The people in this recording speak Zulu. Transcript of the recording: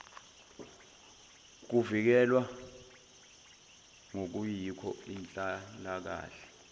kuvikelwe ngokuyikho inhlalakahle